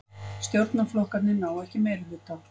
Stjórnarflokkarnir ná ekki meirihluta